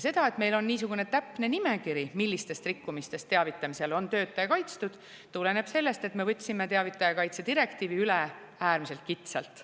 See, et meil on niisugune täpne nimekiri, millistest rikkumistest teavitamisel on töötaja kaitstud, tuleneb sellest, et me võtsime teavitaja kaitse direktiivi üle äärmiselt kitsalt.